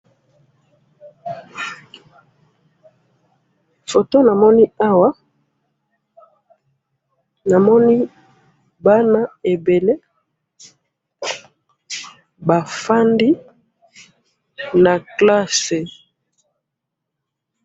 photo namoni awa namoni bana ebele bafandi na classe